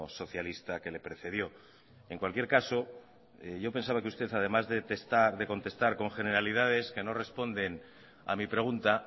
socialista que le precedió en cualquier caso yo pensaba que usted además de testar de contestar con generalidades que no responden a mi pregunta